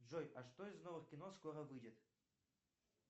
джой а что из новых кино скоро выйдет